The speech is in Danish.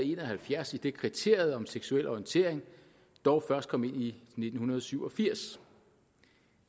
en og halvfjerds idet kriteriet om seksuel orientering dog først kom ind i nitten syv og firs